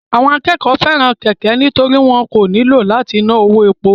Àwọn akẹ́kọ̀ọ́ fẹ́ràn kẹ̀kẹ́ nítorí wọn kò nílò láti ná owó epo